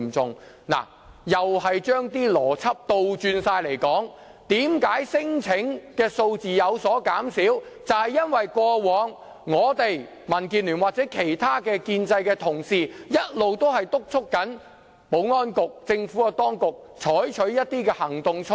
這同樣是將邏輯倒轉來說，聲請數字有所減少，原因就是過往我們民建聯或其他建制派同事，一直督促保安局及政府當局採取措施和行動而致。